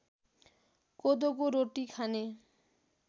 कोदोको रोटी खाने